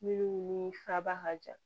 Minnu ni faba ka jan